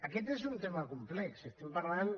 aquest és un tema complex estem parlant